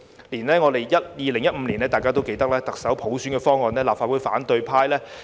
大家也記得，連2015年特首普選方案也遭立法會反對派否決。